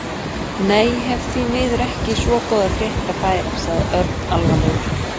Nei, ég hef því miður ekki svo góðar fréttir að færa sagði Örn alvarlegur.